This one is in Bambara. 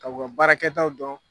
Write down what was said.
Ka u ka baarakɛtaw dɔn.